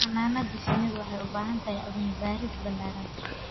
Xannaanada shinnidu waxay u baahan tahay cilmi baaris ballaaran.